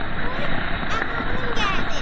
Ay əmioğlum gəldi.